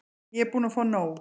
Ég er búin að fá nóg.